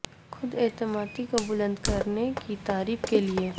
خود اعتمادی کو بلند کرنے کی تعریف کے لئے